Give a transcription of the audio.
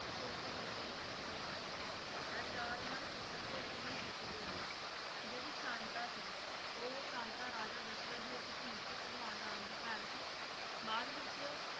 ਸਭ ਤੋਂ ਛੋਟੇ ਸੀ ਸ਼ਤਰੁਘਨ ਇਹ ਚਾਰ ਇਨ੍ਹਾਂ ਦੇ ਪੁੱਤਰ ਤੇ ਇੱਕ ਉਨ੍ਹਾਂ ਦੀ ਇੱਕ ਪੁੱਤਰੀ ਹੋਈ ਜਿਹੜੀ ਇਨ੍ਹਾਂ ਦੀ ਭੈਣ ਸ਼ਾਂਤਾ ਰਾਜਾ ਦਸ਼ਰਥ ਦੀ ਇੱਕ ਧੀ ਭਗਵਾਨ ਰਾਮ ਦੀ ਭੈਣ ਸੀ ਬਾਅਦ ਵਿੱਚ